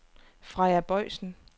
Freja Boysen